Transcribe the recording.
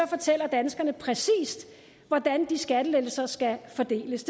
fortæller danskerne præcist hvordan de skattelettelser skal fordeles